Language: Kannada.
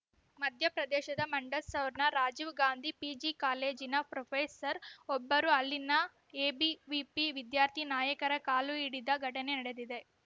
ಮಧ್ಯಪ್ರದೇಶದ ಮಂಡಸೌರ್‌ನ ರಾಜೀವ್‌ ಗಾಂಧಿ ಪಿಜಿ ಕಾಲೇಜಿನ ಪ್ರೊಫೆಸರ್‌ ಒಬ್ಬರು ಅಲ್ಲಿನ ಎಬಿವಿಪಿ ವಿದ್ಯಾರ್ಥಿ ನಾಯಕರ ಕಾಲು ಹಿಡಿದ ಘಟನೆ ನಡೆದಿದೆ